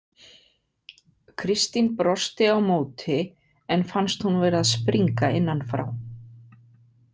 Kristín brosti á móti en fannst hún vera að springa innan frá.